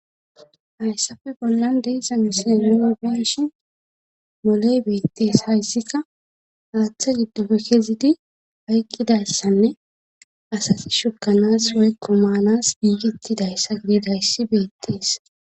Hayssafe bollan deeza misae nubenshi moley beettees hayssikka haaththa giddofe kezidi hayqqidayssanne asati shukanas hoykko maanas giigettidayssa gididayssi beettees